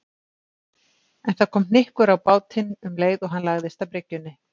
En það kom hnykkur á bátinn um leið og hann lagðist að bryggjunni.